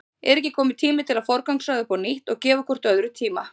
Er ekki kominn tími til að forgangsraða upp á nýtt og gefa hvort öðru tíma?